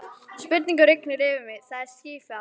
Spurningum rignir yfir mig, það er skýfall.